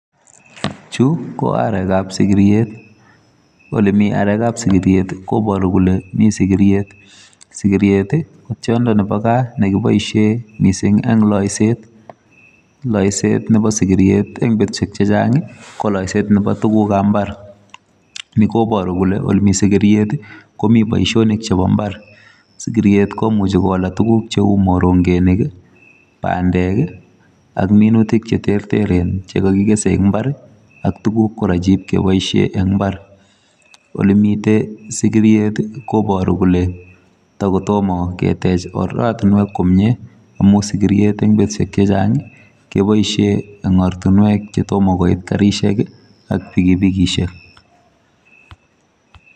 Chu, ko arekab sigiriet. Ole mi arekab sigiriet, koboru kole miii sigiriet. Sigiret, ko tiondo nebo gaa ne kiboisie missing eng' laiset. Laiset nebo sigiriet eng' betushek chechang', ko laiset nebo tugukab mbar. Ni koboru kole ole mii sigiriet, komi boisonik chebo mbar. Sigiriet komuchi kola tuguk cheu morongenik, bandek, ak minutik che terteren che kakikese eng' mbar, ak tuguk kora che ipkeboisie eng' mbar. Ole mitei sigiriet koboru kole tagotomo ketej oratunwek komyee, amu sigriet eng' betushek chechang', keboisie eng' ortunwek che tomo koit garishek ak pikipikishek